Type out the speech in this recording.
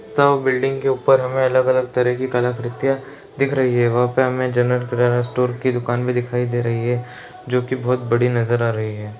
दो बिल्डिंग के ऊपर हमें अलग अलग तरह की कलाकृतियाँ दिख रही है | वहाँ पर हमें जनरल किराना स्टोर की दुकान भी दिखाई दे रही है जो की बहुत बड़ी नजर आ रही है।